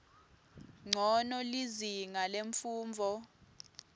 ncono lizinga lemfundvo